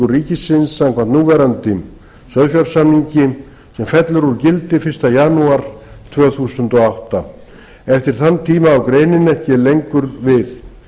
ríkisins samkvæmt núverandi sauðfjársamningi og fellur hún úr gildi fyrsta janúar tvö þúsund og átta eftir þann tíma á greinin ekki lengur við